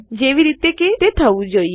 જેવી રીતે કે તે થવું જોઈએ